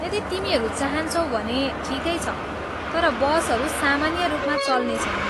यदि तिमीहरू चाहान्छौ भने ठिकै छ, तर बसहरू सामान्य रूपमा चल्नेछन्।